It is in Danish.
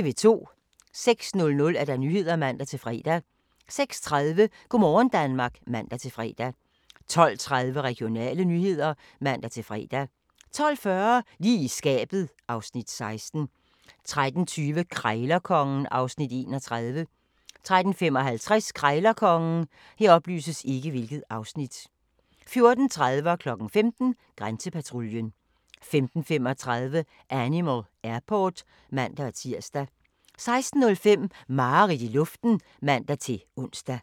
06:00: Nyhederne (man-fre) 06:30: Go' morgen Danmark (man-fre) 12:30: Regionale nyheder (man-fre) 12:40: Lige i skabet (Afs. 16) 13:20: Krejlerkongen (Afs. 31) 13:55: Krejlerkongen 14:30: Grænsepatruljen 15:00: Grænsepatruljen 15:35: Animal Airport (man-tir) 16:05: Mareridt i luften (man-ons)